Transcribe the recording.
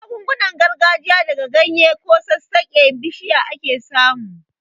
Magungunan gargajiya daga ganye ko sassaken bishiya ake samu.